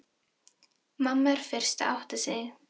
Mamma er fyrst að átta sig: